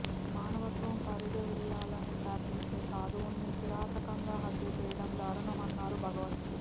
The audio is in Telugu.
మానవత్వం ఫరిడవిల్లాలని ప్రార్థించే సాధువులను కిరాతకంగా హత్య చేయడం దారుణమన్నారు భగవత్